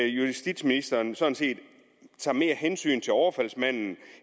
justitsministeren sådan set tager mere hensyn til overfaldsmanden